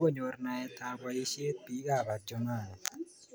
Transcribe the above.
Kokonyor naet ap poisyet piik ap Adjumani